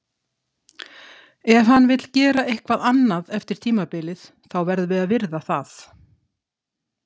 Ef hann vill gera eitthvað annað eftir tímabilið, þá verðum við að virða það.